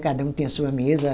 Cada um tinha a sua mesa.